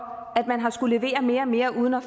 at man har skullet levere mere og mere uden at